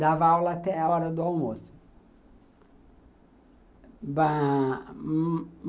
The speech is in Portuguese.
Dava aula até a hora do almoço.